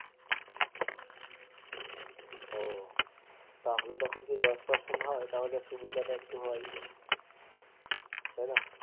ও তাহলে দেখো জি যদি দশ percent হয় সুবিধে তো একটু হয় তাই না